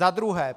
Za druhé.